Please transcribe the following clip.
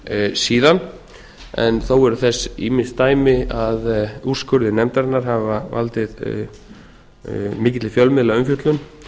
síðan en þó eru þess ýmis dæmi að úrskurðir nefndarinnar hafi valdið mikilli fjölmiðlaumfjöllun